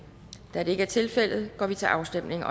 da det ikke er tilfældet går vi til afstemning